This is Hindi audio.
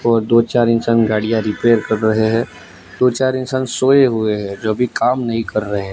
और दो चार इंसान गाड़ियां रिपेयर कर रहे हैं। दो चार इंसान सोए हुए हैं जो भी काम नहीं कर रहे हैं।